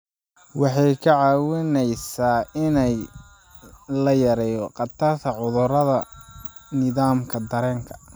Waxay kaa caawinaysaa in la yareeyo khatarta cudurrada nidaamka dareenka.